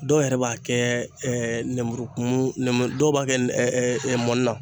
Dɔw yɛrɛ b'a kɛ nɛnburu kumu dɔw b'a kɛ mɔni na.